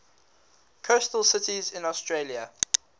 coastal cities in australia